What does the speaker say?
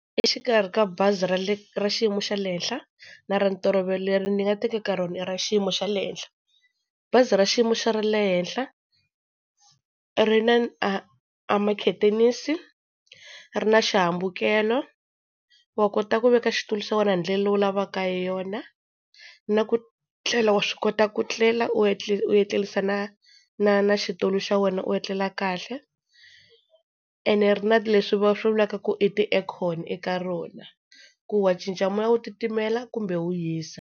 Exikarhi ka bazi ra le ra xiyimo xa le henhla, na ra ntolovelo leri ni nga tekeka rona i ra xiyimo xa le henhla. Bazi ra xiyimo xa ra le henhla ri na a a makhethenisi, ri na xihambukelo wa kota ku veka xitulu xa wena hi ndlela leyi u lavaka hi yona, na ku tlela wa swi kota ku tlela, u etlela u tlerisa na na na xitulu xa wena u etlela kahle. Ene ri na leswi va swi vulaka ku i ti-Aircon eka rona ku wa cinca moya wu titimela kumbe wu hisa.